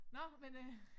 Nå men øh